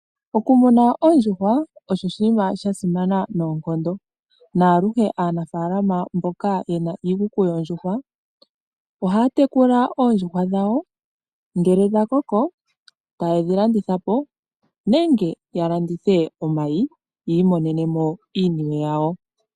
Okumuna oondjuhwa osho oshinima sha simana noonkondo, naluhe anafalama mboka yena iikuku yoondjuhwa ohaya tekula oondjuhwa dhawo ngele dhakoko tayedhi landitha po nenge ya landithe omayi yi imonenemo iinwe yawo.